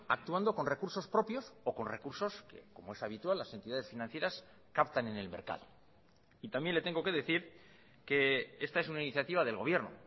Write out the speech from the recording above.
actuando con recursos propios o con recursos que como es habitual las entidades financieras captan en el mercado y también le tengo que decir que esta es una iniciativa del gobierno